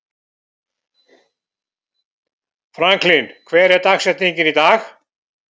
Franklin, hver er dagsetningin í dag?